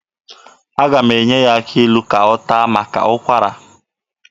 Aga m enye ya akị ilu ka ọ taa maka ụkwara ya.